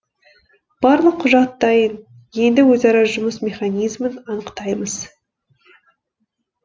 барлық құжат дайын енді өзара жұмыс механизмін анықтаймыз